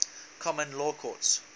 common law courts